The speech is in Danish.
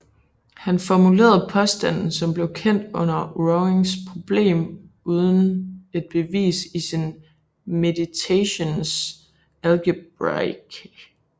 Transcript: Han formulerede påstanden som blev kendt som Warings problem uden et bevis i sin Meditationes Algebraicae